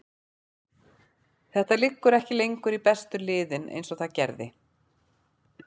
Þetta liggur ekki lengur í bestu liðin eins og það gerði.